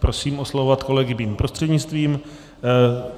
Prosím oslovovat kolegy mým prostřednictvím.